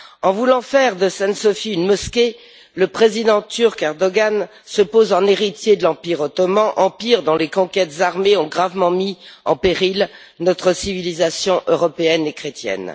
En voulant faire de Sainte Sophie une mosquée, le président turc Erdoğan se pose en héritier de l'Empire ottoman, empire dont les conquêtes armées ont gravement mis en péril notre civilisation européenne et chrétienne.